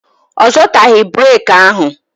Ọ zọtaghị breki ahụ